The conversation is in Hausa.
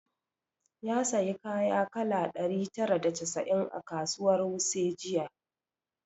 Ya sayi kaya kala ɗari tara da casa'in a kasuwar wuse jiya